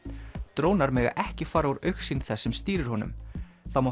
drónar mega ekki fara úr augsýn þess sem stýrir honum það má